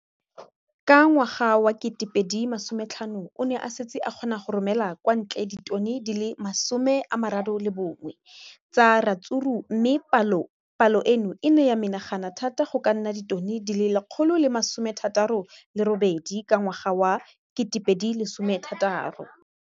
Ka ngwaga wa 2015, o ne a setse a kgona go romela kwa ntle ditone di le 31 tsa ratsuru mme palo eno e ne ya menagana thata go ka nna ditone di le 168 ka ngwaga wa 2016.